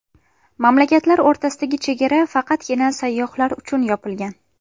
Mamlakatlar o‘rtasidagi chegara faqatgina sayyohlar uchun yopilgan.